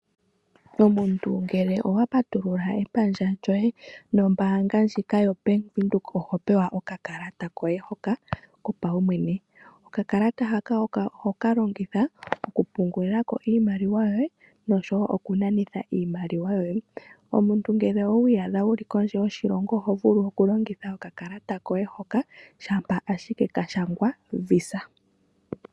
Omuntu ngele owa patulula epandja lyoye nombaanga ndjika yoBank Windhoek oho pewa oka kalata koye hoka kopaumwene, okakalata haka oho ka longitha okupungilila ko iimaliwa yoye nosho wo okuna nitha iimaliwa yoye. Omuntu ngele owi iyadha wu li kondje yoshilongo oho vulu oku longitha oka kalata koye hoka shampa ashike ka shangwa visa.